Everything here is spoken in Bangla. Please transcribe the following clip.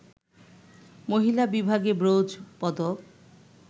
মহিলা বিভাগে ব্রোঞ্জ পদক